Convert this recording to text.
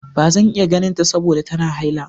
Ba zan iya ganinta saboda tana haila.